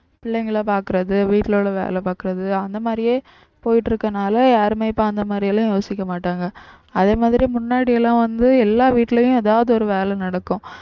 பிள்ளைங்களை பாக்குறது வீட்டுல உள்ள வேலை பார்க்கிறது அந்த மாதிரியே போயிட்டு இருக்கனால யாருமே இப்ப அந்த மாதிரி எல்லாம் யோசிக்க மாட்டாங்க அதே மாதிரி முன்னாடி எல்லாம் வந்து எல்லா வீட்டுலயும் ஏதாவது ஒரு வேலை நடக்கும்